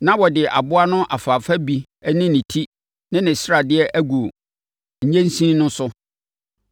Na wɔde aboa no afaafa bi ne ne ti ne ne sradeɛ agu nnyensin no so.